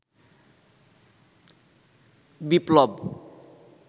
বিপ্লব